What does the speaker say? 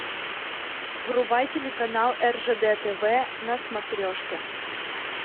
врубай телеканал ржд тв на смотрешке